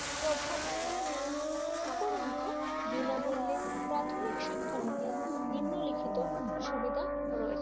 প্রভাব উপরন্তক বিনামূল্যে প্রাথমিক শিক্ষা নিতে নিম্নলিখিত সুবিধা রয়েছে